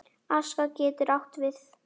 Aska getur átt við